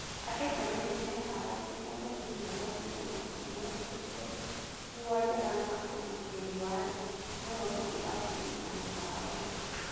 Andũ tene nĩmeharagĩria gũthiĩ miagoinĩ Nairobi mehumbĩte nguo njega na ũgitēri warĩ mũrũmu irabuinĩ na mĩkawaĩnĩ.